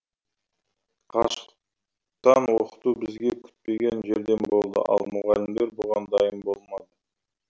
қашықтан оқыту бізге күтпеген жерден болды ал мұғалімдер бұған дайын болмады